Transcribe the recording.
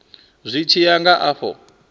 zwi tshi ya nga afho